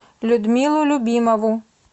людмилу любимову